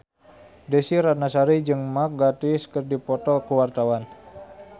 Desy Ratnasari jeung Mark Gatiss keur dipoto ku wartawan